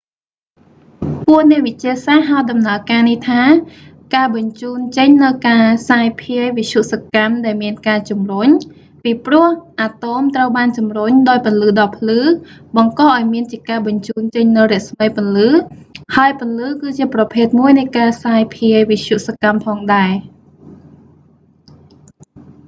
ពួកអ្នកវិទ្យាសាស្ត្រហៅដំណើរការនេះថា «ការបញ្ជូនចេញនូវ​ការសាយ​ភាយ​វិទ្យុសកម្ម ដែល​មាន​ការជំរុញ» ពីព្រោះ​អាតូម​ត្រូវបានជំរុញ ដោយពន្លឺដ៏ភ្លឺ បង្ក​ឱ្យ​មាន​ជាការ​បញ្ជូន​ចេញ​នូវរស្មីពន្លឺ ហើយពន្លឺ គឺជាប្រភេទមួយនៃ​ការសាយភាយ​វិទ្យុសកម្ម​ផង​ដែរ។